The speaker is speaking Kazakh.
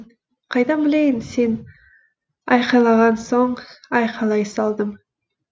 қайдан білейін сен айқайлаған соң айқайлай салдым